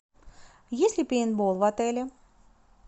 есть ли пейнтбол в отеле